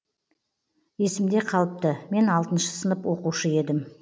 есімде қалыпты мен алтыншы сынып оқушы едім